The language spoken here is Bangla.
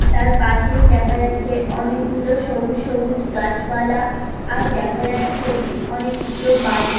তার পাশেই দেখা যাচ্ছে অনেকগুলো সবুজ সবুজ গাছপালা আর দেখা যাচ্ছে অনেকগুলো বাড়ি।